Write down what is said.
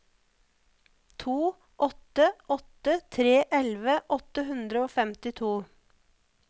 to åtte åtte tre elleve åtte hundre og femtito